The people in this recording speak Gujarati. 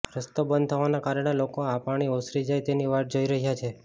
રસ્તો બંધ થવાના કારણે લોકો આ પાણી ઓસરી જાય તેની વાટ જોઈ રહ્યા છે